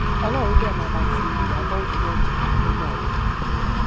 ọlọrun dé máa bá ti ìyàbọ ọjọ náà jẹ ẹ máa wò ó